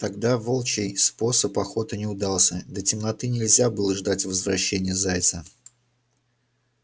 тогда волчий способ охоты не удался до темноты нельзя было ждать возвращения зайца